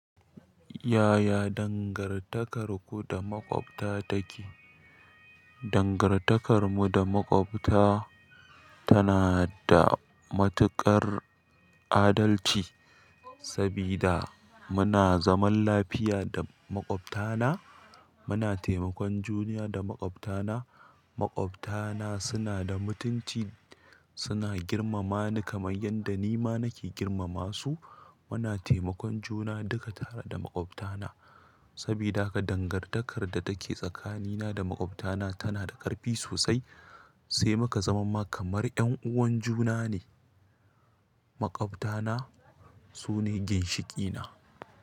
Yaya dangantakarku da maƙwabta take? Dongartakarmu da maƙwabta tana da matuƙar adalci, sabida muna zaman lafiya da maƙwabtana, muna taimakon juna da maƙwabtana, maƙwabtana suna da mutunci, suna girmama ni kamar yadda nima nake girmama su. Muna taimakon juna duka tare da maƙwabtana, sabida haka dangantakar da take tsakanina da maƙwabtana tana da ƙarfi sosai, sai muka zama kamar ƴan uwan juna ne. Makwabtana su ne ginshiƙina.